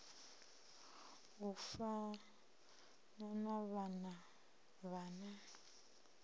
u fana na vhana vhane